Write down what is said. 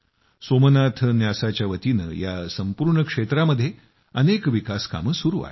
सोमनाथ न्यासाच्यावतीनं या संपूर्ण क्षेत्रामध्ये अनेक विकास कामं केली आहेत